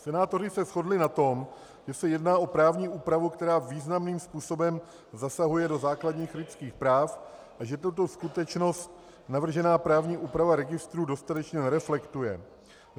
Senátoři se shodli na tom, že se jedná o právní úpravu, která významným způsobem zasahuje do základních lidských práv, a že tuto skutečnost navržená právní úprava registrů dostatečně nereflektuje.